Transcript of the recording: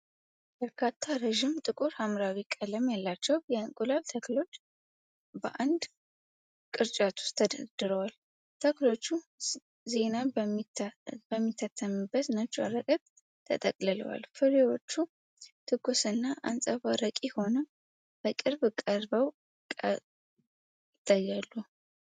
በርካታ ረዥም፣ ጥቁር ሐምራዊ ቀለም ያላቸው የእንቁላል ተክሎች በአንድ ቅርጫት ውስጥ ተደርድረዋል። ተክሎቹ ዜና በሚታተምበት ነጭ ወረቀት ተጠቅልለዋል። ፍሬዎቹ ትኩስና አንፀባራቂ ሆነው በቅርብ ቀርበው ቀርበው ይታያሉ።